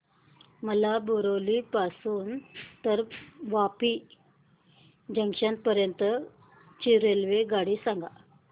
मला बोरिवली पासून तर वापी जंक्शन पर्यंत ची रेल्वेगाडी सांगा